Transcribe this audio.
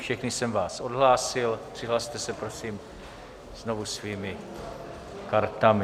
Všechny jsem vás odhlásil, přihlaste se prosím znovu svými kartami.